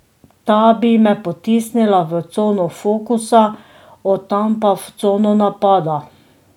Ta bi me potisnila v cono fokusa, od tam pa v cono napada.